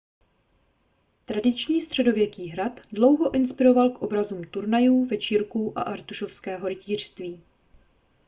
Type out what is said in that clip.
tradiční středověký hrad dlouho inspiroval k obrazům turnajů večírků a artušovského rytířství